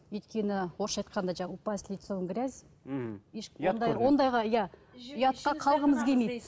өйткені орысша айтқанда жаңағы упасть лицом в грязь мхм ондайға иә ұятқа қалғымыз келмейді